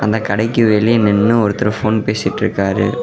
அந்த கடைக்கு வெளியே நின்னு ஒருத்தர் போன் பேசிட்டு இருக்காரு.